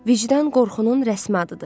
Vicdan qorxunun rəsmi adıdır.